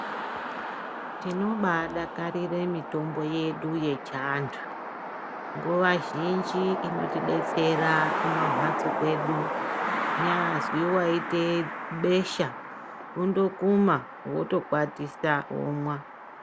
Tinobadakarira mitombo yedu yechiantu nguva zhinji inotibatsira kumamhatso kwedu kunyazwi waita besha kundokuma wotokwatisa womwa.